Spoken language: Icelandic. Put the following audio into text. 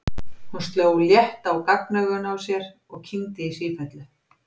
Hún sló létt á gagnaugun á sér og kyngdi í sífellu.